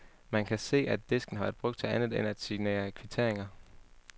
Man kan se, at disken har været brugt til andet end at signere kvitteringer.